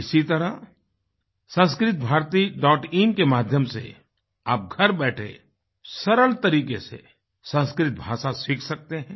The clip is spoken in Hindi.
इसी तरह samskritabharatiin के माध्यम से आप घर बैठे सरल तरीके से संस्कृत भाषा सीख सकते हैं